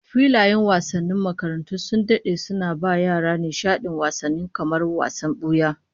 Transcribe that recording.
Filayen wasannin makarantu sun dade suna ba yara nishadin wasanni kamar wasan buya